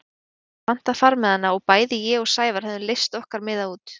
Við höfðum pantað farmiðana og bæði ég og Sævar höfðum leyst okkar miða út.